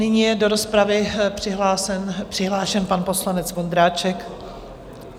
Nyní je do rozpravy přihlášen pan poslanec Vondráček.